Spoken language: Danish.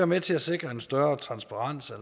med til at sikre en større transparens